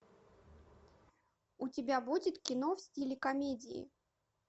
у тебя будет кино в стиле комедии